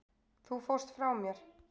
Þú fórst frá mér.